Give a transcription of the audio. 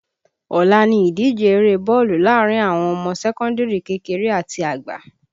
Ọ̀la ni ìdíje eré bọ́ọ̀lù láàrin àwọn ọmọ sẹ́kọ́ndìrì kékeré àti àgbà